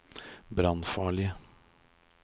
brannfarlige